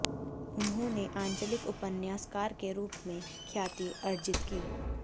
उन्होंने आंचलिक उपन्यासकार के रूप में ख्याति अर्जित की